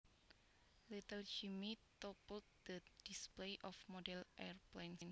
Little Jimmie toppled the display of model airplanes